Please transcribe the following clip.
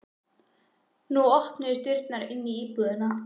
Nú opnuðust dyrnar inn í íbúðina.